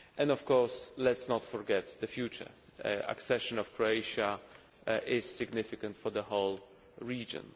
Of course, let us not forget that the future accession of Croatia is significant for the whole region.